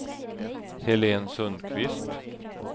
Helén Sundqvist